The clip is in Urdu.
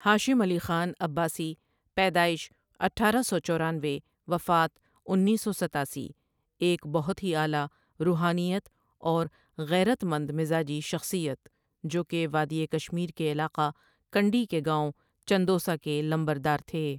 ہاشم علی خان عباسی پیدإش اٹھارہ سوچورینوے وفات انیس سو ستاسی ایک بہت ہی اعلی روحانیت اور غیرتمند مذاجی شخصیت جوکہ وادی کشمیر کے علاقہ کنڈی کے گاوں چندوسہ کے لمبردار تھے ۔